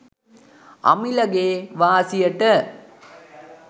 අමිලගේ වාසියට